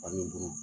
Baliku